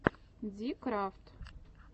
дикрафт